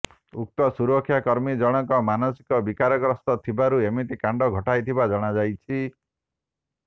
ଉକ୍ତ ସୁରକ୍ଷା କର୍ମୀ ଜଣକ ମାନସିକ ବିକାରଗ୍ରସ୍ତ ଥିବାରୁ ଏମିତି କାଣ୍ଡ ଘଟାଇଥିବା ଜଣାଯାଇଛି